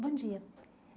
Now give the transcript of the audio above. Bom dia.